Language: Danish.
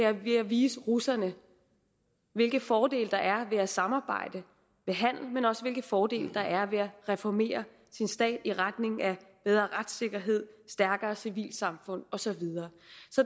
er ved at vise russerne hvilke fordele der er ved at samarbejde ved handel men også hvilke fordele der er ved at reformere sin stat i retning af bedre retssikkerhed et stærkere civilsamfund og så videre